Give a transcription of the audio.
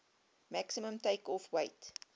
maximum takeoff weight